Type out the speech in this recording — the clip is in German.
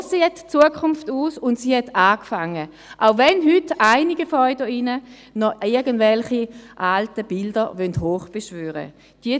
So sieht die Zukunft aus, und sie hat begonnen, auch wenn heute einige von Ihnen hier drin noch irgendwelche alten Bilder heraufbeschwören wollen.